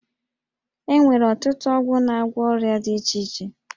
E nwere ọtụtụ ọgwụ na-agwọ ọrịa dị iche iche